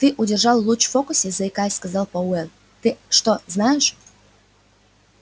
ты удержал луч в фокусе заикаясь сказал пауэлл ты что знаешь